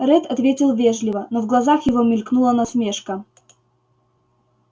ретт ответил вежливо но в глазах его мелькнула насмешка